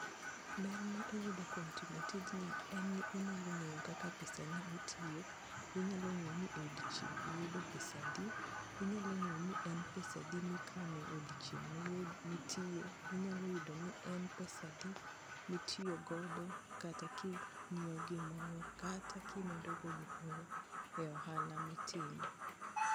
Ber mar timo tijni en ni inyalo ng'eyo kaka pesani otiyo inyalo ng'eyo ni odiochieng' iyudo pesadi, inyalo ng'eyo ni en pesadi mikano e odiochieng' mitiye, inyalo yudo ni en pesadi mitiyo godo kata kinyiewo gimoro kata kimedo go gimoro e ohala mitimo.